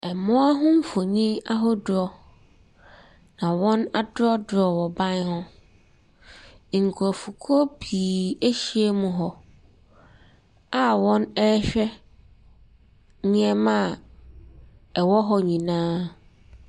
Mmoa ho mfonin ahodoɔ na wɔadrɔɔdrɔɔ wɔ ban ho. Nkurɔfokuo pii ahyia mu hɔ a wɔrehwɛ nneɛma a ɛwɔ hɔ nyinaa.